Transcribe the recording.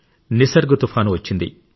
నిసర్గ్ తుపాను వచ్చింది